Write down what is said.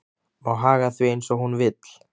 Má haga því eins og hún vill.